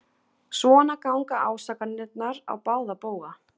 Svona ganga ásakanirnar á báða bóga.